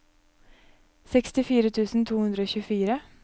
sekstifire tusen to hundre og tjuefire